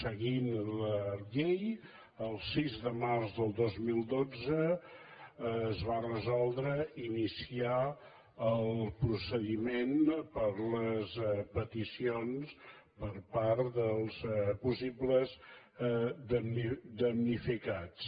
seguint la llei el sis de març del dos mil dotze es va resoldre ini·ciar el procediment per les peticions per part dels pos·sibles damnificats